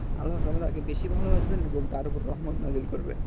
আল্লাতালারে আগে বেশি ভালোবাসবেন এবং তার উপর রহমত দাখিল করবেন